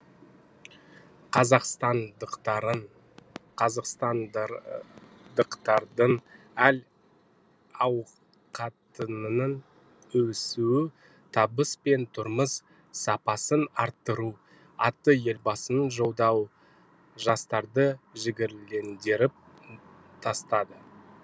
қазақстандықтардың әл ауқатының өсуі табыс пен тұрмыс сапасын арттыру атты елбасының жолдауы жастарды жігерлендіріп тастады